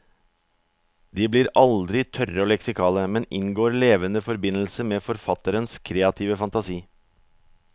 De blir aldri tørre og leksikale, men inngår levende forbindelse med forfatterens kreative fantasi.